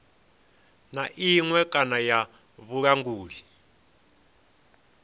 na iṅwe kana ya vhulanguli